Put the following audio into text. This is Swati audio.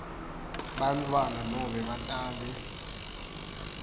bantfwana nobe batali